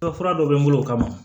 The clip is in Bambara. fura dɔ bɛ n bolo o kama